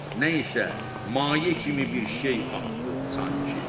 Nə isə maye kimi bir şey axdı sanki.